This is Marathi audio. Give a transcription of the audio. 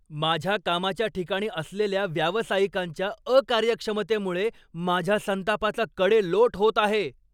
माझ्या कामाच्या ठिकाणी असलेल्या व्यावसायिकांच्या अकार्यक्षमतेमुळे माझ्या संतापाचा कडेलोट होत आहे.